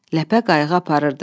Ləpə qayığı aparırdı.